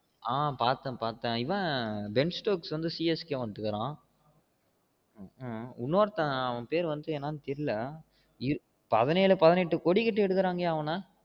ஆஹ் பாத்தேன் பாத்தேன் இவன் பென்ச்டோக் வந்து CSK வந்திருக்கான் இனோருதன் அவன் பேறு வந்து என்னனு தெயரில்லா பதினேழு பதினெட்டு கோடி கட்டி எடுக்குரன்கைய அவன